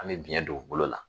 An bɛ biɲɛ don u bolo la